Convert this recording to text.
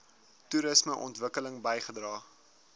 toerisme ontwikkeling bygedra